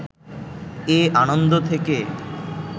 এ আনন্দ থেকে